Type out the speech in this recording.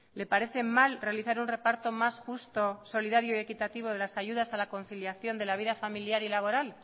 le parece mal realizar un reparto más justo solidario y equitativo de las ayudas de la conciliación de la vida familiar y laboral